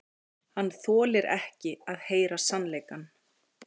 Hann þolir ekki að heyra sannleikann.